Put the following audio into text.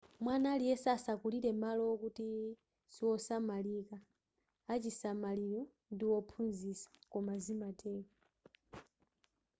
mwana aliyese asakulire malo wokuti siwosamalika achisamaliro ndi wophunzitsa koma zimatero